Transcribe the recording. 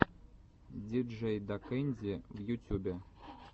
диджейдакэнди в ютюбе